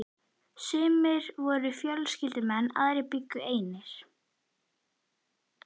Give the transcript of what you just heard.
Sumir voru fjölskyldumenn, aðrir bjuggu einir.